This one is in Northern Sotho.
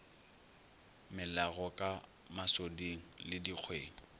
melago ka masoding le dikgweng